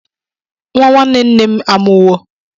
Nwa nwanne nne m amụwo.